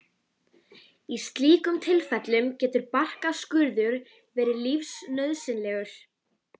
Þess vegna var ég hálfringluð fyrsta tímann í Skipasundi.